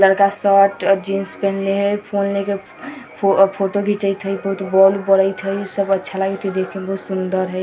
लड़का शर्ट अ जींस पहनले हेय फोन लेके फोटो घिचएत हेय बहुत बोल बरयत हेय सब अच्छा लागएत हेय देखे में बहुत सुंदर हेय।